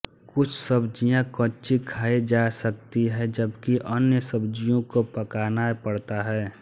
कुछ सब्ज़ियाँ कच्ची खाई जा सकती हैं जबकि अन्य सब्ज़ियों को पकाना पड़ता है